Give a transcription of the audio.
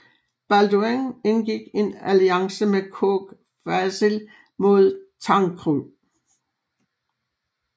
Balduin indgik en alliance med Kogh Vasil mod Tancred